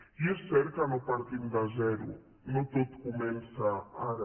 i és cert que no partim de zero no tot comença ara